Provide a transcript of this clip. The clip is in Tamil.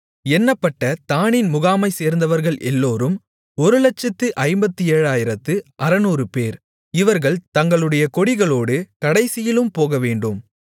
எண்ணப்பட்ட தாணின் முகாமைச்சேர்ந்தவர்கள் எல்லோரும் 157600 பேர் இவர்கள் தங்களுடைய கொடிகளோடு கடைசியிலும் போகவேண்டும்